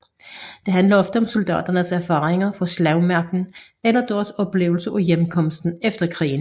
Det handler ofte om soldaternes erfaringer fra slagmarken eller deres oplevelser af hjemkomsten efter krigen